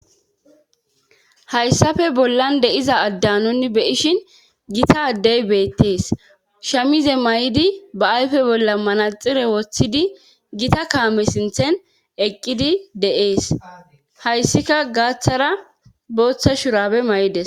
hayssafe bollan de'iza adda nunni be'ishin gita addey beettees shamize maydi ba ayfe bolla manaxire woththidi gita kaame sinthen eqqidi de'ees hayssika gaaththara booththa shurabe maydes